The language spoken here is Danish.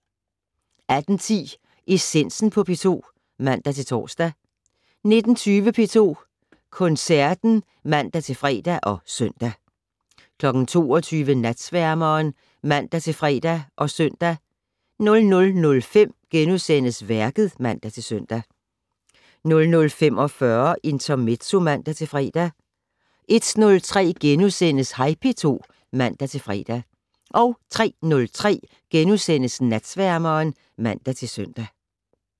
18:10: Essensen på P2 (man-tor) 19:20: P2 Koncerten (man-fre og søn) 22:00: Natsværmeren (man-fre og søn) 00:05: Værket *(man-søn) 00:45: Intermezzo (man-fre) 01:03: Hej P2 *(man-fre) 03:03: Natsværmeren *(man-søn)